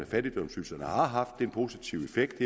fattigdomsydelserne har haft en positiv effekt